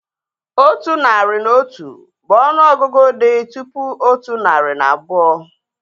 Otu narị na otu bụ ọnụ ọgụgụ dị tụpụ otu narị na abụọ